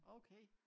Okay